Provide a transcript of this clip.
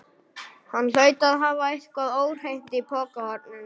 Hann hlaut að hafa eitthvað óhreint í pokahorninu.